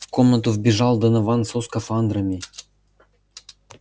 в комнату вбежал донован со скафандрами